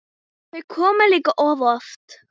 Þau koma líka of oft.